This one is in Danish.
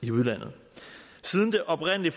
i udlandet siden det oprindelige